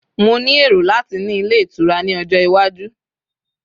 mo ni ero lati ni ile itura ni ojo iwaju